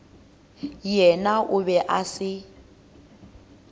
yena o be a se